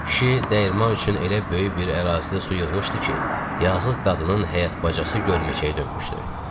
Kişi dəyirman üçün elə böyük bir ərazidə su yığmışdı ki, yazıq qadının həyət bacası gölməçəyə dönmüşdü.